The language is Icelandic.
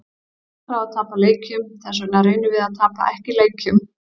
Það tekur á að tapa leikjum, þessvegna reynum við að tapa ekki leikjum.